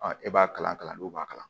e b'a kalan kalandenw b'a kalan